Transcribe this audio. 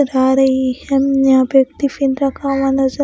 आ रही है हम्म यहाँ पे टिफिन रखा हुआ नज़र --